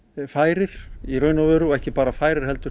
færir í raun og veru og ekki bara færir heldur